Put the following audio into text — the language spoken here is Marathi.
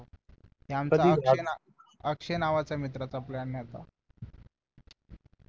अक्षय नावाचा मित्राचा plan होता